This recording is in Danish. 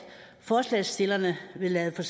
forslagsstillerne vil lade for